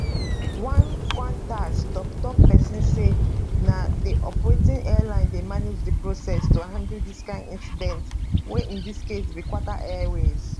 one qantas toktok pesin say na di operating airline dey manage di process to handle dis kain incidents wey in dis case be qatar airways